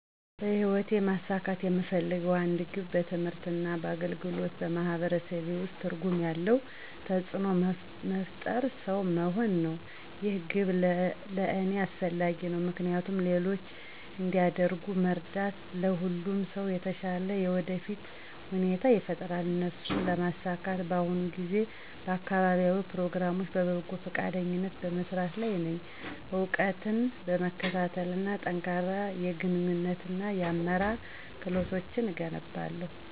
በህይወቴ ማሳካት የምፈልገው አንድ ግብ በትምህርት እና በአገልግሎት በማህበረሰቤ ውስጥ ትርጉም ያለው ተጽእኖ መፍጠርሰው መሆን ነው። ይህ ግብ ለእኔ አስፈላጊ ነው ምክንያቱም ሌሎች እንዲያድጉ መርዳት ለሁሉም ሰው የተሻለ የወደፊት ሁኔታ ይፈጥራል። እሱን ለማሳካት በአሁኑ ጊዜ በአካባቢያዊ ፕሮግራሞች በበጎ ፈቃደኝነት በመስራት ላይ ነኝ፣ እውቀትን በመከታተል እና ጠንካራ የግንኙነት እና የአመራር ክህሎቶችን እገነባለሁ።